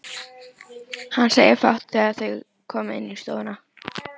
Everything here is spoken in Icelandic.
Hann segir fátt þegar þau koma inn í stofuna.